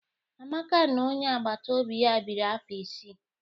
Amaka na onye agbata obi ya biri afọ isii